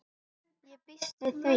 Ég býst við því.